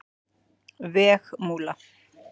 Vegmúla